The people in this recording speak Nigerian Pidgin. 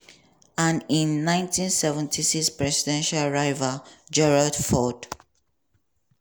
and im 1976 presidential rival gerald ford.